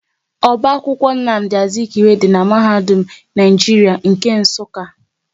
Oba akwụkwọ Nnamdi Azikwe dị n'mahadum Naijiria nke Nsukka